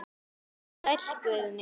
Sæll Guðni.